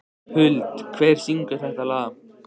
Huld, hver syngur þetta lag?